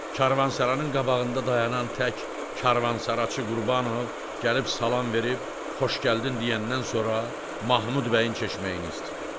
Karvansaranın qabağında dayanan tək karvansaraçı Qurbanov gəlib salam verib, xoş gəldin deyəndən sonra Mahmud bəyin çeşməyini istəyir.